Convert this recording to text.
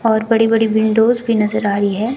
और बड़ी बड़ी विंडोज भी नजर आ रही है।